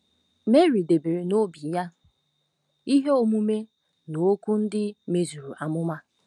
Meri debere n'obi ya ihe omume na okwu ndị mezuru amụma.